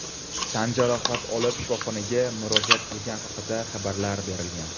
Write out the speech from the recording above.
tan jarohati olib shifoxonaga murojaat qilgani haqida xabarlar berilgan.